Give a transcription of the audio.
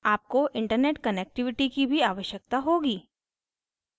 आपको internet connectivity की भी आवश्यकता होगी